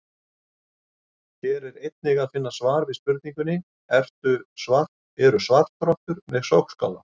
Hér er einnig að finna svar við spurningunni: Eru svartrottur með sogskálar?